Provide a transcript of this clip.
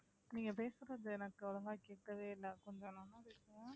நீங்க பேசறது எனக்கு ஒழுங்கா கேக்கவே இல்ல கொஞ்சோ